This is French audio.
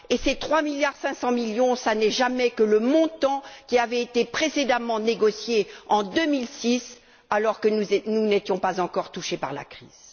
Ces 3,5 milliards d'euros, ce n'est jamais que le montant qui avait été précédemment négocié en 2006, alors que nous n'étions pas encore touchés par la crise.